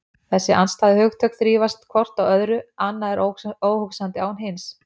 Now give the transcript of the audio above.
Þessi andstæðu hugtök þrífast hvort á öðru, annað er óhugsandi án hins.